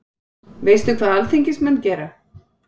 Veistu hvað alþingismenn gera?